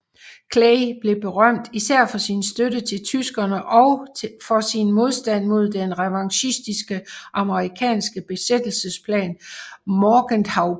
Clay blev berømt især for sin støtte til tyskerne og for sin modstand mod den revanchistiske amerikanske besættelsesplan Morgenthauplanen